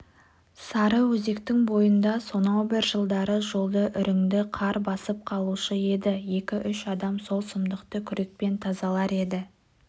сарыөзектің бойында сонау бір жылдары жолды үрінді қар басып қалушы еді екі-үш адам сол сұмдықты күрекпен тазалар еді